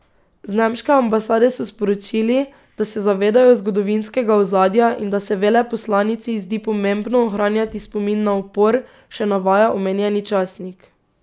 Z nemške ambasade so sporočili, da se zavedajo zgodovinskega ozadja in da se veleposlanici zdi pomembno ohranjati spomin na upor, še navaja omenjeni časnik.